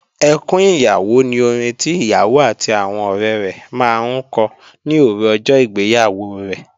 Ẹkún ìyàwó ni orin tí ìyàwó àti àwọn ọ̀rẹ rẹ̀ máa ń kọ ní òru ọjọ́ ìgbéyàwó rẹ̀